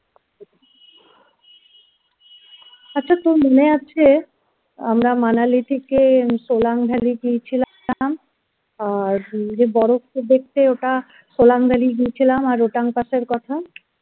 আচ্ছা তোর মনে আছে আমরা manali থেকে solang valley গিয়েছিলাম আর যে বরফকে দেখতে ওটা solang valley গিয়েছেন আর Rhotang pass